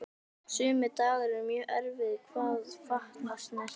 Sumir dagar eru mjög erfiðir hvað fatnað snertir.